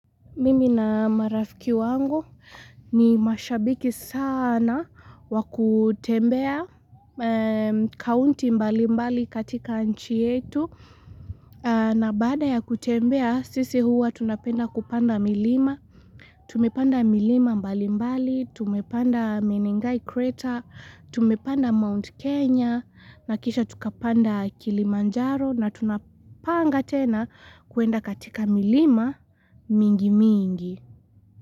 Mimi na marafiki wangu ni mashabiki sana wakutembea kaunti mbali mbali katika nchi yetu. Na baada ya kutembea sisi huwa tunapenda kupanda milima. Tumepanda milima mbali mbali, tumepanda Menengai Crater, tumepanda Mount Kenya, na kisha tukapanda kilimanjaro na tunapanga tena kuenda katika milima mingi mingi.